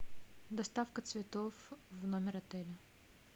доставка цветов в номер отеля